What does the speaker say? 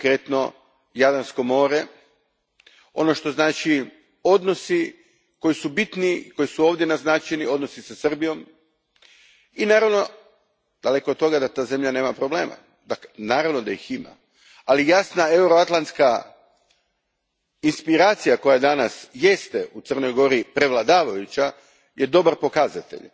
konkretno Jadransko more, ono što znači odnosi koji su bitni, koji su ovdje naznačeni, odnosi sa Srbijom i naravno, daleko od toga da ta zemlja nema problema, naravno da ih ima, ali jasna euroatlantska aspiracija koja danas jeste u Crnoj Gori prevladavajuća je dobar pokazatelj.